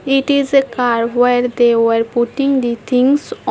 It is a car where they were putting the things on.